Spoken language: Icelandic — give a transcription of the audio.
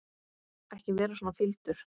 Ekki vera svona fýldur.